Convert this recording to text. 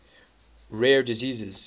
rare diseases